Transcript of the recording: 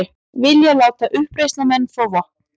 Vilja láta uppreisnarmenn fá vopn